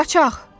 Qaçaq!